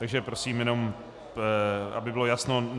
Takže prosím jenom, aby bylo jasno.